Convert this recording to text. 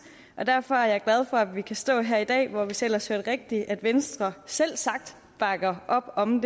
og derfor er jeg glad for at vi kan stå her i dag hvor hvis jeg ellers hørte rigtigt venstre selvsagt bakker op om